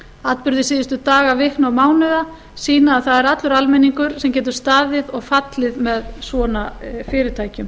atburðir síðustu daga vikna og mánaða sýna að það er allur almenningur sem getur staðið og fallið með svona fyrirtækjum